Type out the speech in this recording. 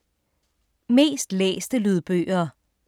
Mest læste lydbøger